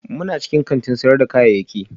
muna cikin kantin sayar da kayayyaki